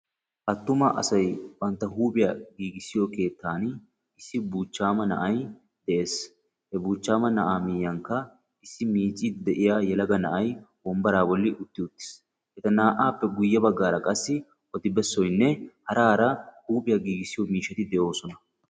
Atumma asay bantta huuphphiyaa gigissiyo keettani issi buuchchama na'ay de'es, he buchchama miyankka issi miicidi de'iyaa yelagga na'ay wonbaraa bolli utti uttis, etta na'appe guyee baggara qassi oddibessaynne hara hara huuphphpiyaa giggissiyo miishshatti de'ossona.